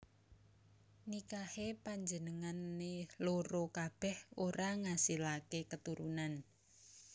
Nikahé panjenengané loro kabèh ora ngasilaké keturunan